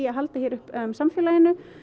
að halda uppi samfélaginu